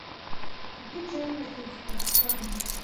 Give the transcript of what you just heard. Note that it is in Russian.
купить чай в пакетиках черный